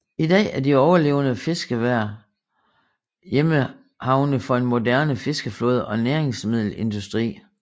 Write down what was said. I dag er de overlevende fiskevær hjemmehavne for en moderne fiskeflåde og næringsmiddelindustri